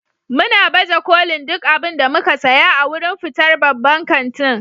muna baje kolin duk abin da muka saya a wurin fitar babban kantin.